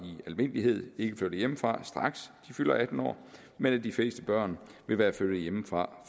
almindelighed ikke flytter hjemmefra straks de fylder atten år men at de fleste børn vil være flyttet hjemmefra